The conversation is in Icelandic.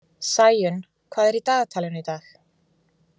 Sæunn, hvað er í dagatalinu í dag?